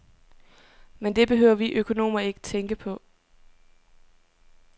Men det behøver vi økonomer ikke tænke på.